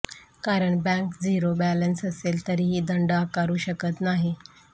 कारण bank zero balance असेल तरीही दंड आकारू शकत नाही